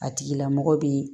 A tigila mɔgɔ bɛ